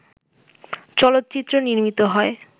চলচ্চিত্র নির্মিত হয়